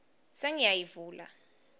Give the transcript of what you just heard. sengiyayivula